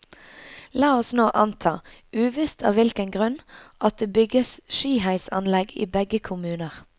La oss nå anta, uvisst av hvilken grunn, at det bygges skiheisanlegg i begge kommuner.